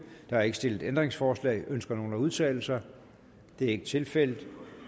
er ikke stillet ændringsforslag ønsker nogen at udtale sig det er ikke tilfældet